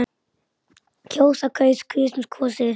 kjósa- kaus- kusum- kosið